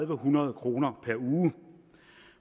hundrede kroner per uge